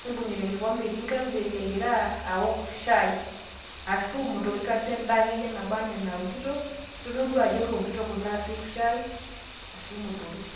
neibung'ita enkikombe egira aok shai, ashu imotorik, ashu entoki akeyie naba anaa enaokito. kitodolu ajo kewokito kule ashu imotorik.